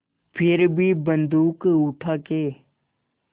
फिर भी बन्दूक उठाके